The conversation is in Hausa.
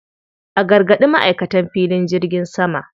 A gargaɗi ma'aikatan filin jirgin sama.